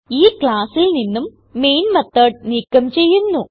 ഈ classൽ നിന്നും മെയിൻ മെത്തോട് നീക്കം ചെയ്യുന്നു